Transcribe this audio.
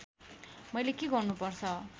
मैले के गर्नुपर्छ